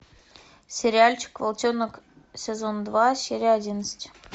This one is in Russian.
сериальчик волчонок сезон два серия одиннадцать